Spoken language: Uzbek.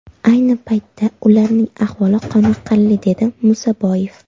Ayni paytda ularning ahvoli qoniqarli”, dedi Musaboyev.